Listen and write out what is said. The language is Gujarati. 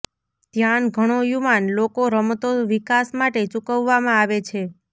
ધ્યાન ઘણો યુવાન લોકો રમતો વિકાસ માટે ચૂકવવામાં આવે છે